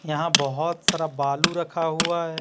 यहां बहुत सारा बालू रखा हुआ है।